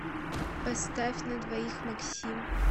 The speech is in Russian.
поставь на двоих максим